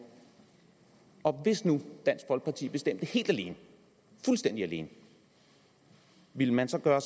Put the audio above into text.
og hvis nu dansk folkeparti bestemte helt alene fuldstændig alene ville man så gøre